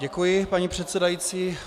Děkuji, paní předsedající.